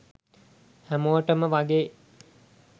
හැමෝටම වගේ